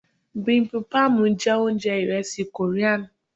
bibimbap jẹ ounjẹ iresi Korean.